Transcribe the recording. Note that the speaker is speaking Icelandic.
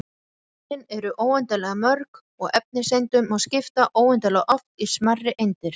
Frumefnin eru óendanlega mörg og efniseindunum má skipta óendanlega oft í smærri eindir.